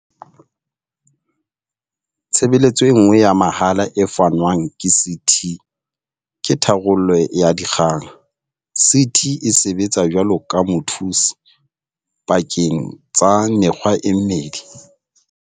Tshebeletso e nngwe ya mahala e fanwang ke CT ke tharollo ya dikgang. CT e sebetsa jwaloka mothusi pakeng tsa mekga e mmedi.